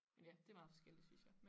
Men ja det er meget forskelligt synes jeg